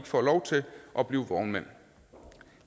får lov til at blive vognmænd